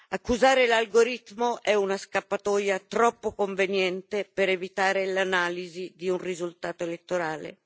Accusare l'algoritmo è una scappatoia troppo conveniente per evitare l'analisi di un risultato elettorale.